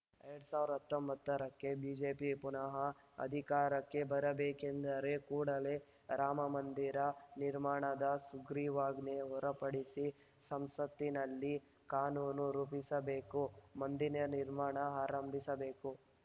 ಎರಡ್ ಸಾವಿರದ ಹತ್ತೊಂಬತ್ತರಕ್ಕೆ ಬಿಜೆಪಿ ಪುನಃ ಅಧಿಕಾರಕ್ಕೆ ಬರಬೇಕೆಂದರೆ ಕೂಡಲೇ ರಾಮಮಂದಿರ ನಿರ್ಮಾಣದ ಸುಗ್ರೀವಾಜ್ಞೆ ಹೊರ ಪಡಿಸಿ ಸಂಸತ್ತಿನಲ್ಲಿ ಕಾನೂನು ರೂಪಿಸಬೇಕು ಮಂದಿರ ನಿರ್ಮಾಣ ಆರಂಭಿಸಬೇಕು